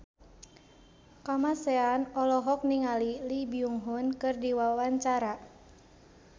Kamasean olohok ningali Lee Byung Hun keur diwawancara